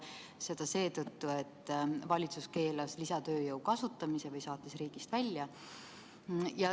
Seda seetõttu, et valitsus keelas lisatööjõu kasutamise või saatis selle riigist välja.